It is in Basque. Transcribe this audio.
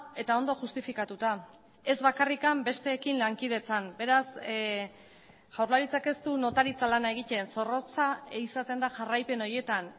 eta ondo justifikatuta ez bakarrik besteekin lankidetzan beraz jaurlaritzak ez du notaritza lana egiten zorrotza izaten da jarraipen horietan